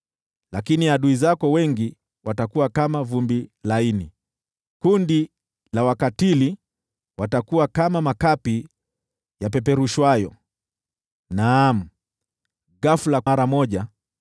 Lakini adui zako wengi watakuwa kama vumbi laini, kundi la wakatili watakuwa kama makapi yapeperushwayo. Naam, ghafula, mara moja,